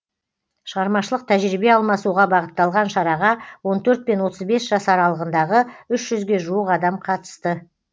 шығармашылық тәжірибе алмасуға бағытталған шараға он төрт пен отыз бес жас аралығындағы үш жүзге жуық адам қатысты